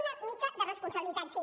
una mica de responsabilitat sí